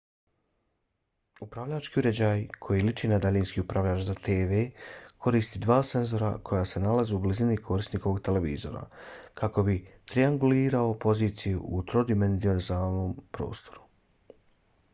upravljački uređaj koji liči na daljinski upravljač za tv koristi dva senzora koja se nalaze u blizini korisnikovog televizora kako bi triangulirao poziciju u trodimenzionalnom prostoru